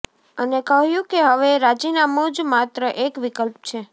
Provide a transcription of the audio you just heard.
અને કહ્યું કે હવે રાજીનામુ જ માત્ર એક વિકલ્પ છે